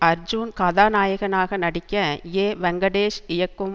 அர்ஜூன் கதாநாயகனாக நடிக்க ஏ வெங்கடேஷ் இயக்கும்